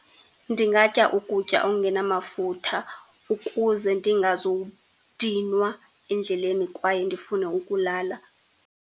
Ndingatya ukutya okungenamafutha ukuze ndingazudinwa endleleni kwaye ndifune ukulala.